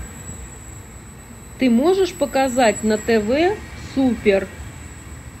ты можешь показать на тв супер